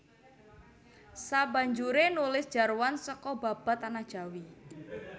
Sabanjure nulis jarwan seka Babad Tanah Jawi